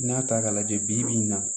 N'i y'a ta k'a lajɛ bi-bi in na